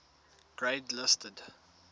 grade listed